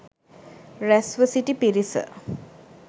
රැස්ව සිටි පිරිස